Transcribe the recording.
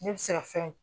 Ne bɛ se ka fɛn